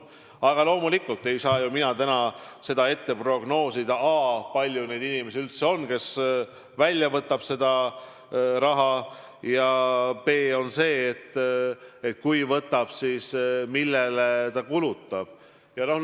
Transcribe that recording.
Aga loomulikult ei saa mina täna prognoosida, a) kui palju on inimesi, kes selle raha välja võtavad, ja b) kui raha võetakse välja, siis millele see kulutatakse.